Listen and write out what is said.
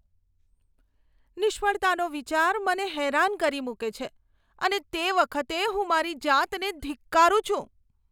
નિષ્ફળતાનો વિચાર મને હેરાન કરી મૂકે છે અને તે વખતે હું મારી જાતને ધિક્કારું છું.